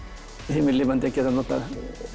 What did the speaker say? himinlifandi að geta notað